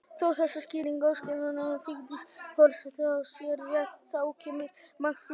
Þótt þessi skýring æskuvinkonu Vigdísar forseta sé rétt, þá kemur margt fleira til.